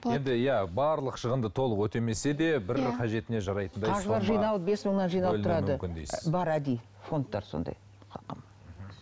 иә барлық шығынды толық өтемесе де бір қажетіне жарайтындай бар әдейі фондтар сондай қалқам